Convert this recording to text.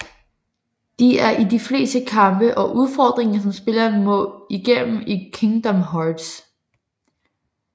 De er i de fleste kampe og udfordringer som spilleren må igennem i Kingdom Hearts